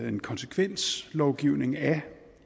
en konsekvenslovgivning af